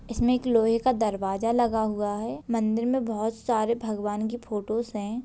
इसमें एक लोहे का दरवाजा लगा हुआ है मंदिर में बहुत सारे भगवान की फोटोस हैं।